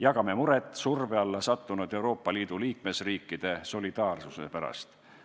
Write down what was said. Jagame muret surve alla sattunud Euroopa Liidu liikmesriikide solidaarsuse pärast.